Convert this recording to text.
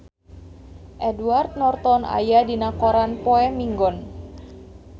Edward Norton aya dina koran poe Minggon